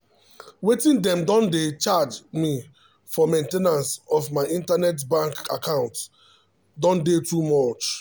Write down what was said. wetin dem don dey charge me for main ten ance of my internet bank account don dey too much o.